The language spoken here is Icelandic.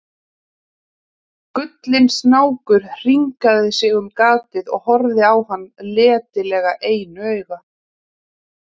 Gullinn snákur hringaði sig um gatið og horfði á hann letilega einu auga.